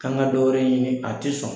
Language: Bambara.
K'an ka dɔ wɛrɛ ɲini a tɛ sɔn.